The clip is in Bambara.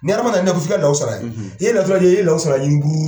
Ni Arama na naf fila n'aw sara ye. Ye natɔ dee ye lɔw sara ye gruuuuu